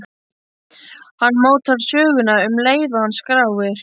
Hann mótar söguna um leið og hann skráir.